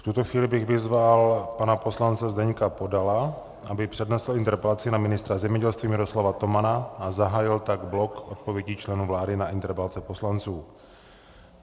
V tuto chvíli bych vyzval pana poslance Zdeňka Podala, aby přednesl interpelaci na ministra zemědělství Miroslava Tomana, a zahájil tak blok odpovědí členů vlády na interpelace poslanců.